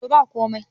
to ba komai